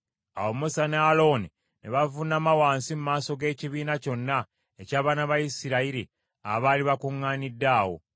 Awo Musa ne Alooni ne bavuunama wansi mu maaso g’ekibiina kyonna eky’abaana ba Isirayiri abaali bakuŋŋaanidde awo.